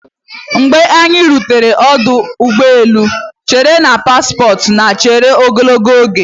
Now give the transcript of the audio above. Mgbe anyị rutere ọdụ ụgbọ elu, echere na paspọtụ na-echere ogologo oge.